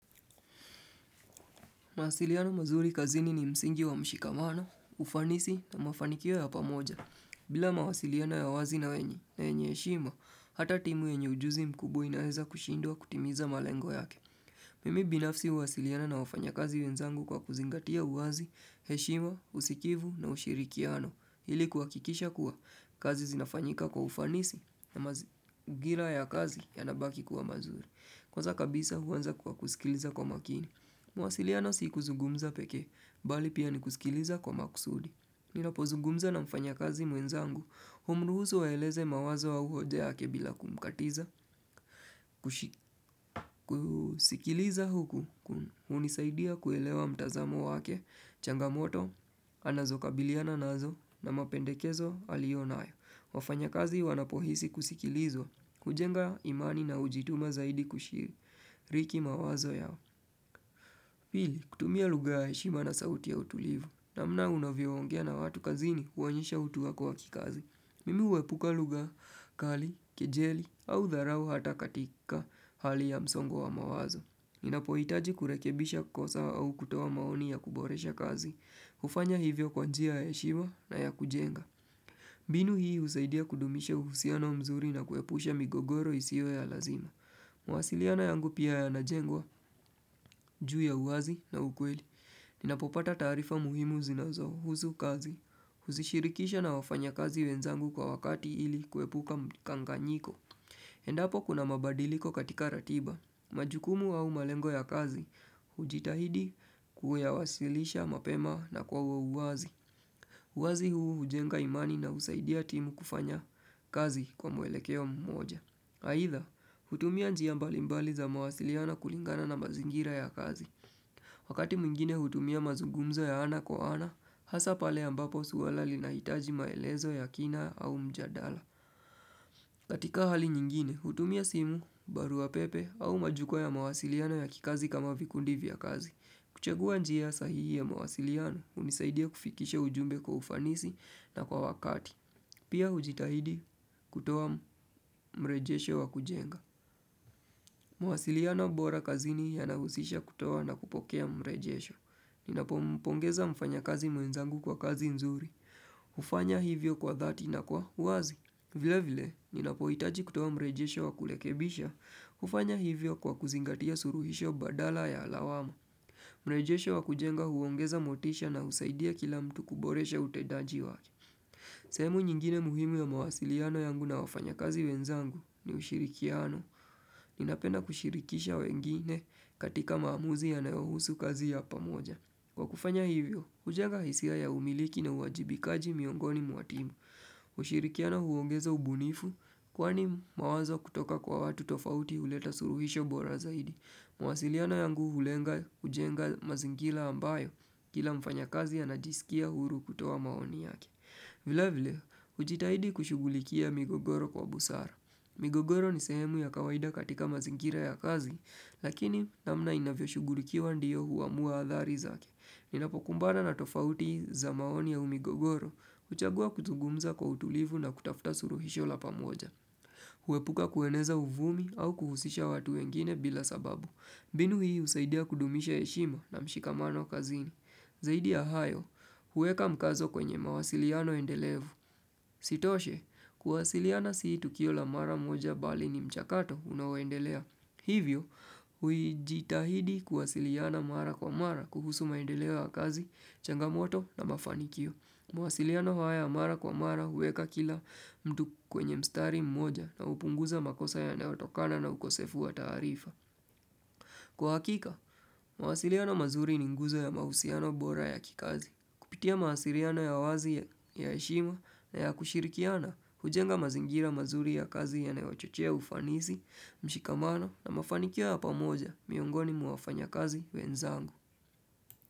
Mawasiliano mazuri kazini ni msingi wa mshikamano, ufanisi na mafanikio ya pamoja. Bila mawasiliano ya wazi na wenye heshimwa, hata timu yenye ujuzi mkubwa inaweza kushindwa kutimiza malengo yake. Mimi binafsi uwasiliana na wafanyakazi wenzangu kwa kuzingatia uwazi, heshima, usikivu na ushirikiano. Hili kuhakikisha kuwa kazi zinafanyika kwa ufanisi na mangira ya kazi yanabaki kuwa mazuri. Kwanza kabisa huu anza kwa kusikiliza kwa makini. Mawasiliano si kuzungumza pekee, bali pia ni kusikiliza kwa makusudi Ninapozugumza na mfanyakazi mwenzangu Humruhusu aeleze mawazo au hoja yake bila kumkatiza kusikiliza huku, unisaidia kuelewa mtazamo wake changamoto, anazokabiliana nazo na mapendekezo alionayo wafanyakazi wanapohisi kusikilizwa hujenga imani na ujituma zaidi kushiriki mawazo yao Hii, kutumia lugha ya heshima na sauti ya utulivu, namna unavyoongea na watu kazini uonyesha utu wako wa kikazi. Mimi uepuka lugha, kali, kejeli, au dharau hata katika hali ya msongo wa mawazo. Ninapohitaji kurekebisha kosa au kutoa maoni ya kuboresha kazi, hufanya hivyo kwa njia ya heshima na ya kujenga. Mbinu hii husaidia kudumisha uhusiano mzuri na kuepusha migogoro isio ya lazima. Mwasiliano yangu pia yanajengwa, juu ya uwazi na ukweli Ninapopata taarifa muhimu zinazohuzu kazi Huzishirikisha na wafanyakazi wenzangu kwa wakati ili kuepuka mkanganyiko Endapo kuna mabadiliko katika ratiba majukumu au malengo ya kazi ujitahidi kuyawasilisha mapema na kwa uwazi uwazi huu hujenga imani na husaidia timu kufanya kazi kwa mwelekeo mmoja Haidha, hutumia njia mbalimbali za mawasiliana kulingana na mazingira ya kazi. Wakati mwingine hutumia mazugumzo ya ana kwa ana, hasa pale ambapo swala linahitaji maelezo ya kina au mjadala. Katika hali nyingine, hutumia simu, barua pepe au majukwaa ya mawasiliano ya kikazi kama vikundi vya kazi. Kuchagua njia sahihi ya mawasiliano hunisaidia kufikisha ujumbe kwa ufanisi na kwa wakati. Pia ujitahidi kutoa mrejesho wa kujenga. Mawasiliano bora kazini yanahusisha kutoa na kupokea mrejesho Ninapompongeza mfanyakazi mwenzangu kwa kazi nzuri hufanya hivyo kwa dhati na kwa uwazi vile vile, ninapohitaji kutoa mrejesho wa kulekebisha hufanya hivyo kwa kuzingatia suruhisho badala ya lawama mrejesho wa kujenga huongeza motisha na husaidia kila mtu kuboresha utendaji wake sehemu nyingine muhimu ya mwasiliano yangu na wafanyakazi wenzangu ni ushirikiano Ninapenda kushirikisha wengine katika maamuzi yanayohusu kazi ya pamoja. Kwa kufanya hivyo, ujenga hisia ya umiliki na uajibikaji miongoni mwa timu. Ushirikiano huongeza ubunifu, kwani mawazo kutoka kwa watu tofauti uleta suruhisho bora zaidi. Mawasiliano yangu ulenga kujenga mazingila ambayo kila mfanyakazi anajisikia huru kutoa maoni yake. Vile vile, ujitahidi kushugulikia migogoro kwa busara. Migogoro ni sehemu ya kawaida katika mazingira ya kazi, lakini namna inavyoshugurikiwa ndiyo huamua athari zake. Ninapokumbana na tofauti za maoni au migogoro huchagua kuzungumza kwa utulivu na kutafuta suruhisho la pamoja. Huepuka kueneza uvumi au kuhusisha watu wengine bila sababu. Mbinu hii husaidia kudumisha heshima na mshikamano kazini. Zaidi ya hayo, huweka mkazo kwenye mawasiliano endelevu. Isitoshe, kuwasiliana si tukio la mara moja bali ni mchakato unaoendelea. Hivyo, huijitahidi kuwasiliana mara kwa mara kuhusu maendeleo ya kazi, changamoto na mafanikio. Mawasiliano haya ya mara kwa mara huweka kila mtu kwenye mstari mmoja na hupunguza makosa yanayotokana na ukosefu wa tarifa. Kwa hakika, mawasiriano mazuri ni nguzo ya mahusiano bora ya kikazi. Kupitia mawasiriano ya wazi ya heshima na ya kushirikiana, hujenga mazingira mazuri ya kazi yanayochochea ufanisi, mshikamano na mafanikio ya pamoja miongoni mwa wafanyakazi wenzangu.